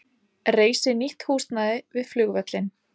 Reisi nýtt húsnæði við flugvöllinn